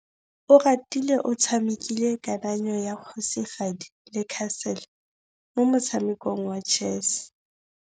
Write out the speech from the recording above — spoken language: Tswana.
Oratile o tshamekile kananyô ya kgosigadi le khasêlê mo motshamekong wa chess.